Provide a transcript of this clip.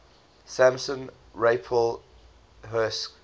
samson raphael hirsch